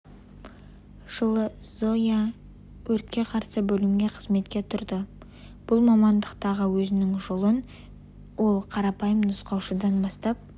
жылы зоя юхновец өртке қарсы бөлімге қызметке тұрды бұл мамандықтағы өзінің жолын ол қарапайым нұсқаушыдан бастап